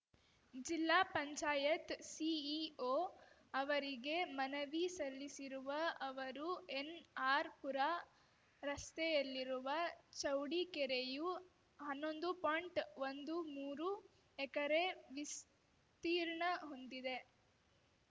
ಜಿಲ್ಲಾ ಪಂಚಾಯತ್ ಸಿಇಒ ಅವರಿಗೆ ಮನವಿ ಸಲ್ಲಿಸಿರುವ ಅವರು ಎನ್‌ಆರ್‌ಪುರ ರಸ್ತೆಯಲ್ಲಿರುವ ಚೌಡಿಕೆರೆಯು ಹನ್ನೊಂದು ಪಾಯಿಂಟ್ಒಂದು ಮೂರು ಎಕರೆ ವಿಸ್ತೀರ್ಣ ಹೊಂದಿದೆ